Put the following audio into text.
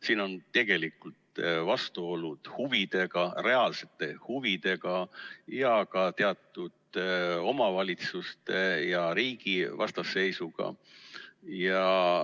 Siin on tegelikult vastuolud huvidega, reaalsete huvidega, ja ka teatud omavalitsuste ja riigi vastasseisuga.